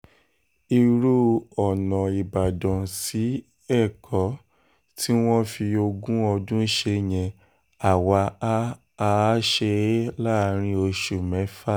irú ọ̀nà ìbàdàn sí ẹ̀kọ́ tí wọ́n fi ogún ọdún ṣe yẹn àwa a á ṣe é láàrin oṣù mẹ́fà